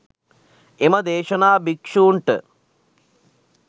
එම දේශනා භික්‍ෂූන්ට